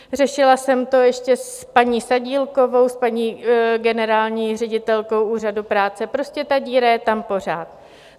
Řešila jsem to ještě s paní Sadílkovou, s paní generální ředitelkou Úřadu práce , prostě ta díra je tam pořád.